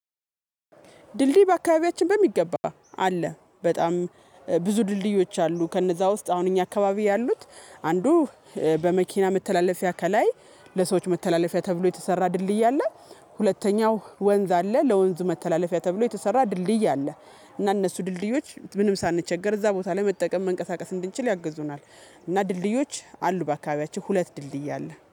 ድልድይ በአካባቢያችን በሚገባ አለ በጣም ብዙ ድልድዮች አሉ። ከነዛ ውስጥ አሁን እኛ አካባቢ ያሉት አንዱ በመኪና መተላለፊያ ከላይ ለሰዎች መተላለፊያ ተብሎ የተሰራ ድልድይ አለ። ሁለተኛው ወንዝ አለ ለወንዝ መተላለፊያ ተብሎ የተሰራ ድልድይ አለ። እና እነሱ ድልድዮች ምንም ሳንቸገር እዛ ቦታ ላይ መጠቀም መንቀሳቀስ እንድንችል ያግዙናል። እና ድልድዮች አሉ በአካባቢያችን ሁለት ድልድይ አለ